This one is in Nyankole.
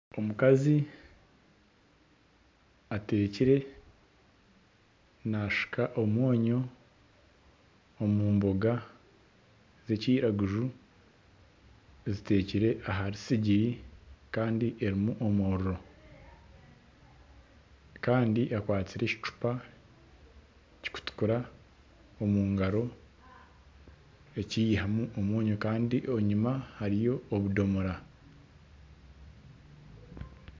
Omukazi atekire naashuka omwonyo omu mboga z'ekiraguju, zitekire ahari sigiri kandi erimu omuriro kandi akwatsire ekicupa kirikutukura omu ngaro eki yihamu omwonyo kandi enyima hariyo obudomora